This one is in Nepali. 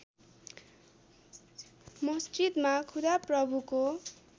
मस्जिदमा खुदा प्रभुको